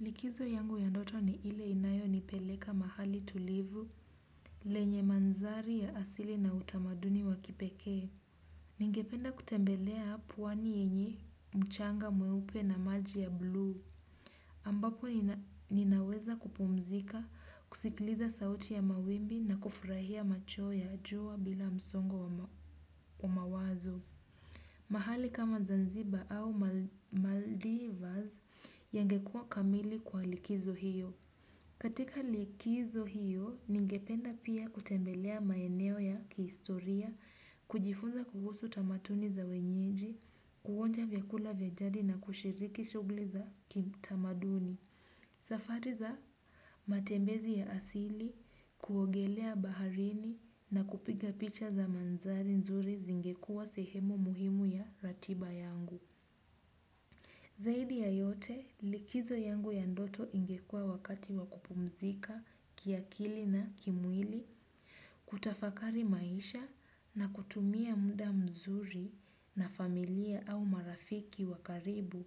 Likizo yangu ya ndoto ni ile inayo nipeleka mahali tulivu lenye manzari ya asili na utamaduni wa kipeke. Ningependa kutembelea pwani yenye mchanga mweupe na maji ya bluu. Ambapo ninaweza kupumzika, kusikiliza sauti ya mawimbi na kufurahia machweo ya jua bila msongo wa mawazo. Mahali kama Zanzibar au Maldivas yangekua kamili kwa likizo hiyo. Katika likizo hiyo, ningependa pia kutembelea maeneo ya kihistoria, kujifunza kuhusu tamatuni za wenyeji, kuonja vyakula vya jadi na kushiriki shugli za kitamaduni. Safari za, matembezi ya asili, kuogelea baharini na kupiga picha za manzari nzuri zingekua sehemu muhimu ya ratiba yangu. Zaidi ya yote likizo yangu ya ndoto ingekuwa wakati wa kupumzika, kiakili na kimwili, kutafakari maisha na kutumia muda mzuri na familia au marafiki wa karibu.